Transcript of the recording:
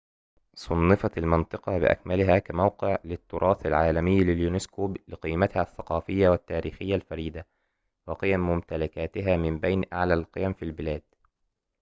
صُنفت المنطقة بأكملها كموقع للتراث العالمي لليونسكو لقيمتها الثقافية والتاريخية الفريدة وقيم ممتلكاتها من بين أعلى القيم في البلاد